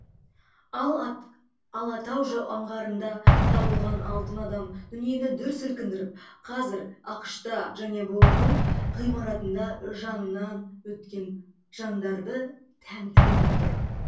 ал алатау аңғарында табылған алтын адам дүниені дүр сілкіндіріп қазір ақш та және бұұ ның ғимаратында жанынан өткен жандарды тәнті етіп тұр